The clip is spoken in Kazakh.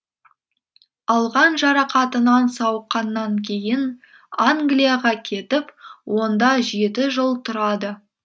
алған жарақатынан сауыққаннан кейін англияға кетіп онда жеті жыл тұрады